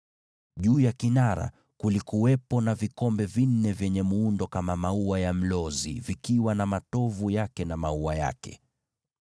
Juu ya kinara chenyewe kulikuwepo na vikombe vinne vya mfano wa maua ya mlozi yakiwa na matovu yake na maua yake.